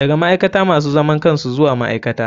Daga ma'aikata masu zaman kansu zuwa ma'aikata.